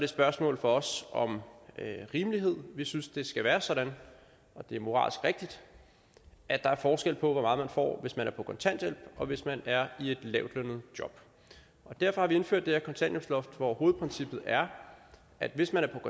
spørgsmål for os om rimelighed vi synes det skal være sådan det er moralsk rigtigt at der er forskel på hvor meget man får hvis man er på kontanthjælp og hvis man er i et lavtlønnet job og derfor har vi indført det her kontanthjælpsloft hvor hovedprincippet er at hvis man